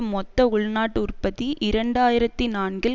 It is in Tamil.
மொத்த உள்நாட்டு உற்பத்தி இரண்டு ஆயிரத்தி நான்கில்